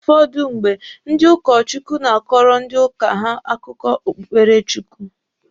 Ụfọdụ mgbe, ndị ụkọ Chukwu na-akọrọ ndị uka ha akụkọ okpụkpere Chukwu.